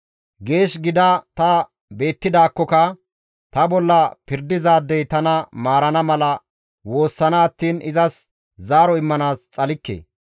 Geesh gida ta beettidaakkoka; ta bolla pirdizaadey tana maarana mala woossana attiin izas zaaro immanaas xalikke.